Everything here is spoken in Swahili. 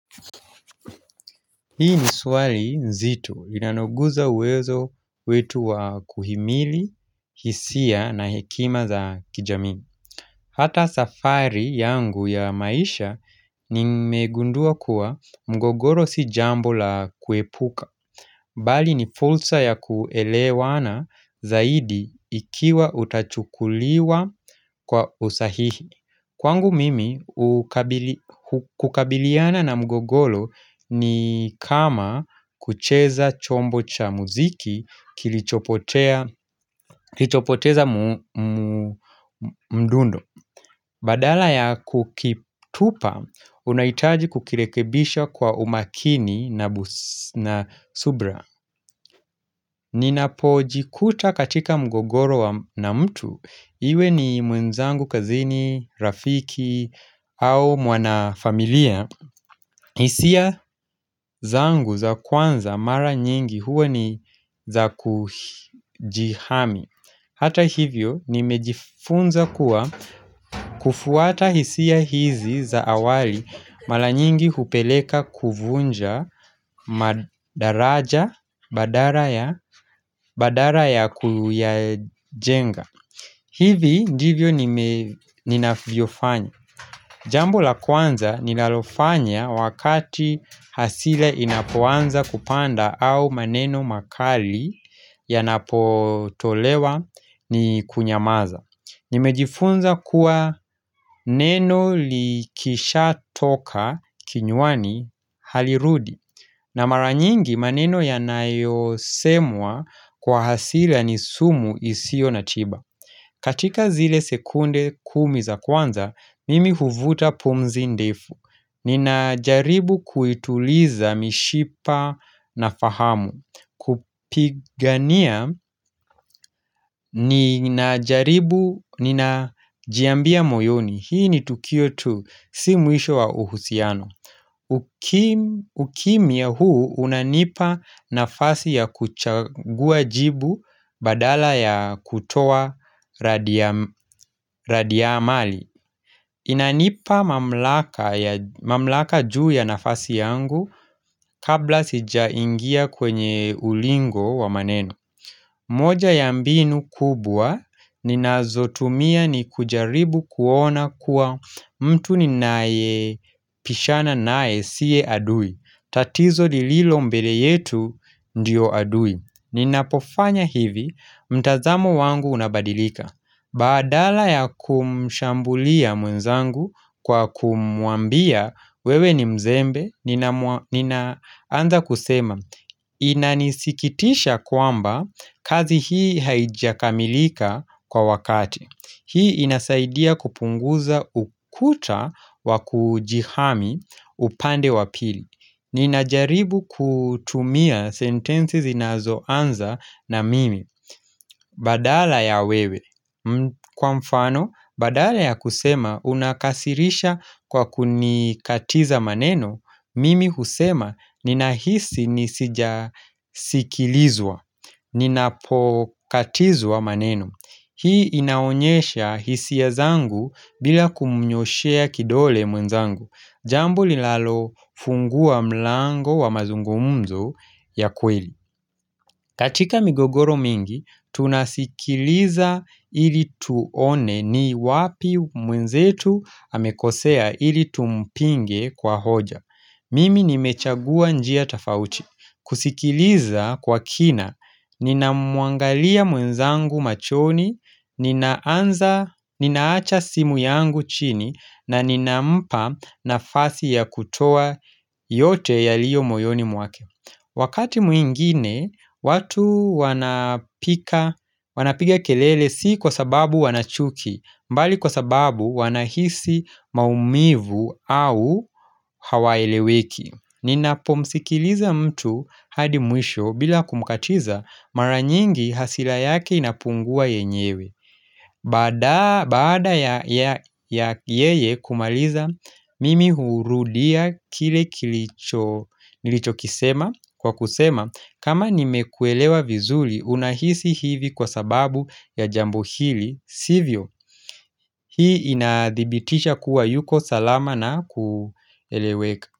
Hii ni swali nzito. Linaloguza uwezo wetu wa kuhimili, hisia na hekima za kijamii. Hata safari yangu ya maisha nimegundua kuwa mgogoro si jambo la kuepuka. Bali ni fursa ya kuelewana zaidi ikiwa utachukuliwa kwa usahihi. Kwangu mimi, kukabiliana na mgogoro ni kama kucheza chombo cha muziki kilichopoteza mdundo. Badala ya kukitupa, unahitaji kukirekebisha kwa umakini na subira. Ninap jikuta katika mgogoro na mtu Iwe ni mwenzangu kazini, rafiki au mwana familia hisia zangu za kwanza mara nyingi huwa ni za kujihami Hata hivyo nimejifunza kuwa kufuata hisia hizi za awali Mara nyingi hupeleka kuvunja madaraja badala ya kuyajenga hivi ndivyo ninavyofanya Jambo la kwanza ninalofanya wakati hasira inapoanza kupanda au maneno makali yanapotolewa ni kunyamaza Nimejifunza kuwa neno likisha toka kinywani halirudi na mara nyingi maneno yanayosemwa kwa hasira ni sumu isiyo na tiba katika zile sekunde kumi za kwanza, mimi huvuta pumzi ndefu Ninajaribu kuituliza mishipa na fahamu kupigania nina jaribu, ninajiambia moyoni Hii ni tukio tu, si mwisho wa uhusiano ukimya huu unanipa nafasi ya kuchagua jibu badala ya kutoa radi ya amali Inanipa mamlaka juu ya nafasi yangu kabla sijaingia kwenye ulingo wa maneno moja ya mbinu kubwa ninazotumia ni kujaribu kuona kuwa mtu ninayebishana naye siye adui tatizo lililo mbele yetu ndio adui Ninapofanya hivi mtazamo wangu unabadilika Badala ya kumshambulia mwenzangu kwa kumuambia wewe ni mzembe Ninaanza kusema Inanisikitisha kwamba kazi hii haijakamilika kwa wakati Hii inasaidia kupunguza ukuta wa kujihami upande wa pili Ninajaribu kutumia sentensi zinazoanza na mimi Badala ya wewe Kwa mfano, badala ya kusema Unakasirisha kwa kunikatiza maneno Mimi husema ninahisi nisijasikilizwa, ninapokatizwa maneno. Hii inaonyesha hisia zangu bila kumnyoshea kidole mwenzangu. Jambo linalofungua mlango wa mazungumzo ya kweli. Katika migogoro mingi, tunasikiliza ili tuone ni wapi mwenzetu amekosea ili tumpinge kwa hoja. Mimi nimechagua njia tofauti. Kusikiliza kwa kina, ninamuangalia mwenzangu machoni, ninaacha simu yangu chini, na ninampa nafasi ya kutoa yote yaliyo moyoni mwake. Wakati mwingine, watu wanapiga kelele si kwa sababu wanachuki, mbali kwa sababu wanahisi maumivu au hawaeleweki. Ninapomsikiliza mtu hadi mwisho bila kumkatiza mara nyingi hasira yake inapungua yenyewe. Baada ya yeye kumaliza, mimi hurudia kile kilicho nilichokisema kwa kusema kama nimekuelewa vizuri unahisi hivi kwa sababu ya jambo hili, sivyo hii inadhibitisha kuwa yuko salama na kueleweka.